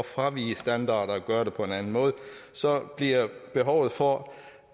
fravige standarder og gøre det på en anden måde så bliver behovet for